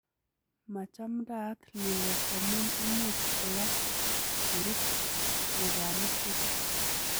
Machaamndad lilet amun imuch koyach korut lubanik chechang'.